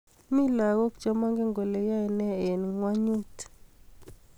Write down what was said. Mi lakok che magen kole yae ne eng ngwenyut